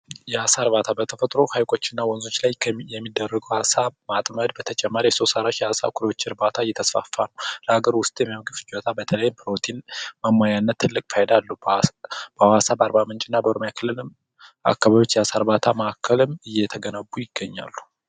የአሣ እርባታ በተፈጥሮ ሀይቆችና ወንዞች ላይ የሚደረጉ ሃሳብ ማጥመድ በተጨማሪ የሶስት እርባታ እየተስፋፋ ለሀገር ውስጥ በተለይ ፕሮቲንና ትልቅ ፋይዳ አካባቢዎች ማዕከልም እየተገነቡ ይገኛሉ።